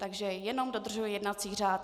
Takže jenom dodržuji jednací řád.